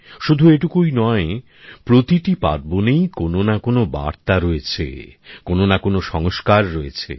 শুধু এটুকুই নয় প্রতিটি পার্বনেই কোন না কোন বার্তা রয়েছে কোনো না কোনো সংস্কার রয়েছে